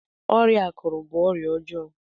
ọrịa akuru bu ọrịa ọjọọ